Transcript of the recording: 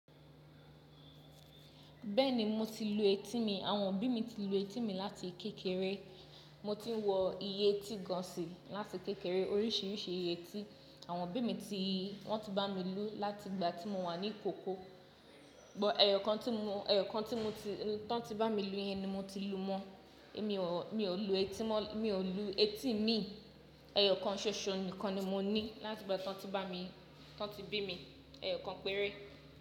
Bẹ́ẹ̀ni, mo ti lu etí mi. Àwọn òbí mi ti lu etí mi láti kékeré. Mo ti ń wọ ìyétí gan si láti kékeré. Oríṣiríṣi ìyétí àwọn òbí mi ti, wọn ti bá mi lú láti ìgbà tí mo wà ní ìkókó. Ṣùgbọ́n ẹ̀yọ̀kan tí mo, ẹ̀yọ̀kan tí mo ti, tàn tí bá mi lú yẹn ni mo ti lu mọ́. Èmi ò, mi ò lu etí mọ́, mi ò lu etí mi. Ẹ̀yọ̀kan ṣoṣo nìkan ni mo ní láti ìgbà tí wọ́n ti bá mi, tí wọ́n ti bí mi, ẹ̀yọ̀kan péré.